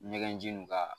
Ɲɛgɛnjiw k'a la